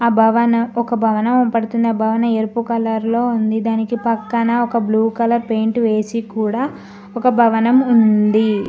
భవన ఒక భవనం కనపడుతుంది ఆ భవనం ఎరుపు కలర్లో ఉంది దానికి పక్కన ఒక బ్లూ కలర్ పెయింట్ వేసి కూడా ఒక భవనం ఉంది